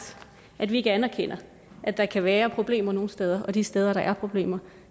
at vi ikke anerkender at der kan være problemer nogle steder og de steder hvor der er problemer